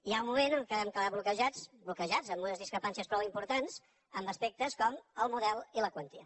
hi ha un moment en què vam quedar bloquejats bloquejats amb unes discre·pàncies prou importants en aspectes com el model i la quantia